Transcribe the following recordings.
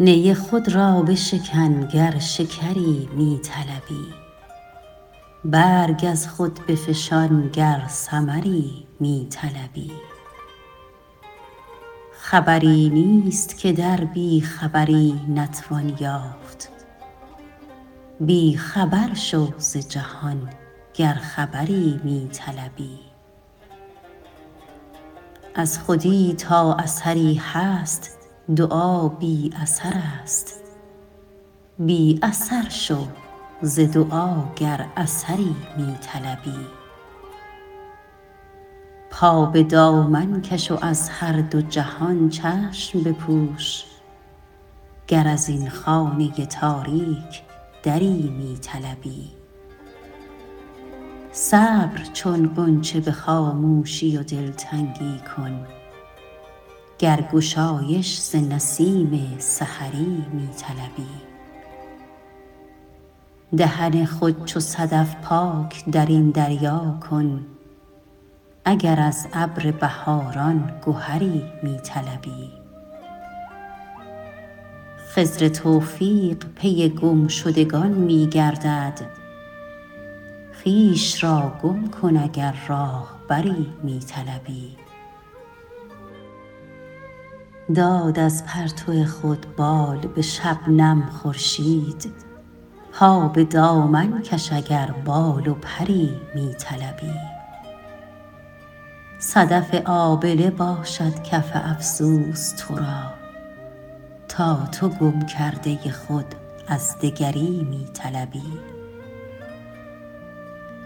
نی خود را بشکن گر شکری می طلبی برگ از خود بفشان گر ثمری می طلبی خبری نیست که در بیخبری نتوان یافت بیخبر شو ز جهان گر خبری می طلبی از خودی تا اثری هست دعا بی اثرست بی اثر شو ز دعا گر اثری می طلبی پا به دامن کش و از هر دو جهان چشم بپوش گر ازین خانه تاریک دری می طلبی صبر چون غنچه به خاموشی و دلتنگی کن گر گشایش ز نسیم سحری می طلبی دهن خود چو صدف پاک درین دریا کن اگر از ابر بهاران گهری می طلبی خضر توفیق پی گمشدگان می گردد خویش را گم کن اگر راهبری می طلبی داد از پرتو خود بال به شبنم خورشید پا به دامن کش اگر بال و پری می طلبی صدف آبله باشد کف افسوس ترا تا تو گم کرده خود از دگری می طلبی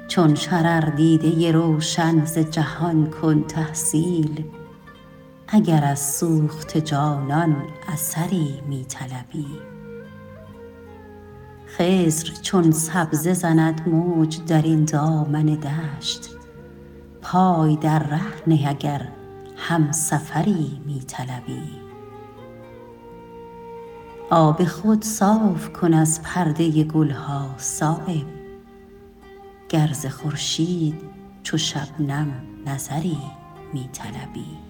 چون شرر دیده روشن ز جهان کن تحصیل اگر از سوخته جانان اثری می طلبی خضر چون سبزه زند موج درین دامن دشت پای در ره نه اگر همسفری می طلبی آب خود صاف کن از پرده گلها صایب گر ز خورشید چو شبنم نظری می طلبی